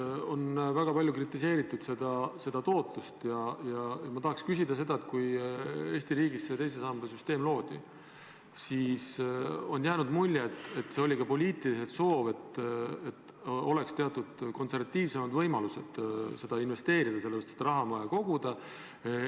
Fondide tootlust on väga palju kritiseeritud ja ma tahaks küsida selle kohta, et kui Eesti riigis teise samba süsteem loodi, siis on jäänud mulje, et see oli ka poliitiline soov, et oleks teatud konservatiivsemad võimalused investeerida, sest raha on vaja koguda.